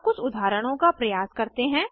अब कुछ उदाहरणों का प्रयास करते हैं